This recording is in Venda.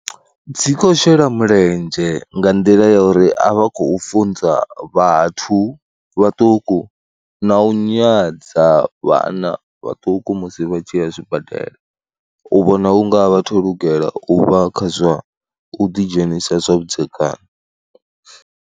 Dzi khou shela mulenzhe nga nḓila ya uri a vha khou funza vhathu vhaṱuku na u nyadza vhana vhaṱuku musi vha tshi ya zwibadela, u vhona u nga vha a thu lugela u vha kha zwa u ḓidzhenisa zwavhudzekani.